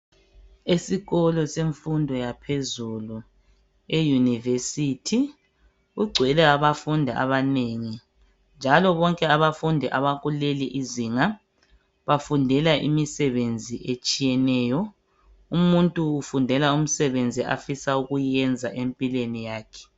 Indlu leyi, ilezithulo letafula. Yona iyindlu yabantu abafunda ezifundweni zaphezulu kodwa kayibukeki iyindlu ihlanzekileyo kungcolile kulindlu.